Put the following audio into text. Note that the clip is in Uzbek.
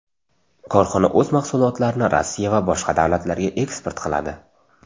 Korxona o‘z mahsulotlarini Rossiya va boshqa davlatlarga eksport qiladi.